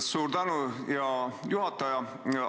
Suur tänu, hea juhataja!